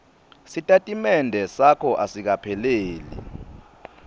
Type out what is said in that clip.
sitatimende sakho asikapheleli